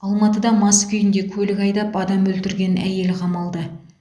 алматыда мас күйінде көлік айдап адам өлтірген әйел қамалды